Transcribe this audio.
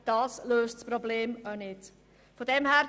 Das löst die Probleme nicht.